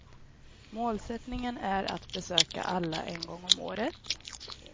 Målsättningen är att besöka alla en gång om året.